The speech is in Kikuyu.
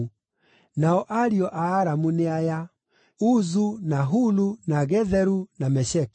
Nao ariũ a Aramu nĩ aya: Uzu, na Hulu, na Getheru, na Mesheki.